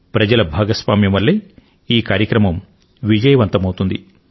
ప్రజల భాగస్వామ్యం వల్లే ఈ కార్యక్రమం విజయవంతం అవుతుంది